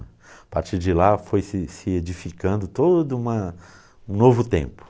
A partir de lá foi se se edificando todo uma um novo tempo.